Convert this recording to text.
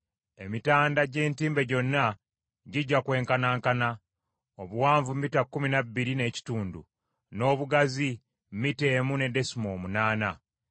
Emitanda gy’entimbe gyonna gijja kwenkanankana: obuwanvu mita kkumi na bbiri n’ekitundu, n’obugazi mita emu ne desimoolo munaana.